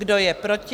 Kdo je proti?